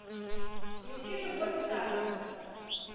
включи любовь и танцы